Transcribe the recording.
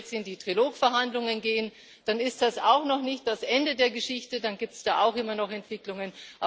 Und wenn wir jetzt in die Trilogverhandlungen gehen, dann ist das auch noch nicht das Ende der Geschichte, dann gibt es da auch immer noch Entwicklungen.